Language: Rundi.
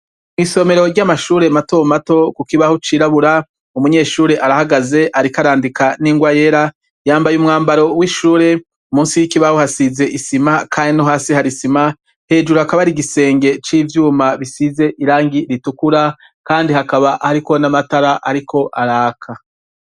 Isomero ry'amashure mato mato, ku kibaho c'irabura, umunyeshure arahagaze ariko arandika n'ingwa yera, yambaye umwambaro w'ishure, munsi y'ikibaho hasize isima kandi no hasi hari isima, hejuru hakaba hari igisenge c'ivyuma bisize irangi ritukura, kandi hakaba hariko n'amatara ariko araka.